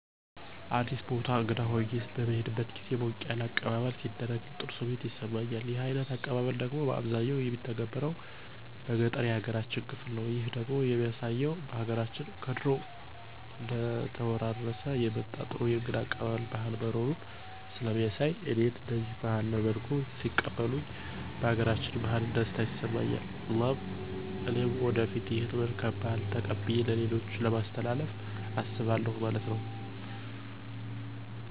አዲስ ቦታ እንግዳ ሁኘ በምሄድበት ግዜ ሞቅ ያለ አቀባበለሌ ሲደረግልኝ ጥሩ ስሜት ይሰማኛል። ይህ አይነት አቀባበል ደግሞ ባብዛኛው የሚተገበረው በገጠሩ ያገራችን ክፍል ነው። ይህ ደግሞ የሚያሳየው በሀገራችን ከድሮ እየተወራረሠ የመጣ ጥሩ የእንግዳ አቀባበል ባህል መኖሩን ሥለሚያሣይ እኔም እደዚህ ባለ መልኩ ሲቀበሉኝ ባገራችን ባህል ደስታ ይሠማኝ እና እኔም ወደፊት ይህን መልካም ባህል ተቀብየ ለሌሎችም ለማሥተላለፍ አስባለሁ ማለት ነው።